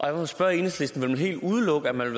jeg må spørge enhedslisten vil man helt udelukke at man